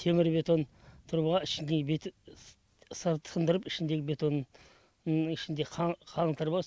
темір бетон труба ішіндегі сындырып ішіндегі бетонның ішінде қаңылтыр бар